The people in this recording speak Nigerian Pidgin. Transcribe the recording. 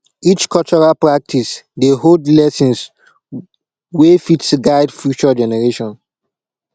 each cultural practice dey hold lessons wey fit guide future generations